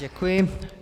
Děkuji.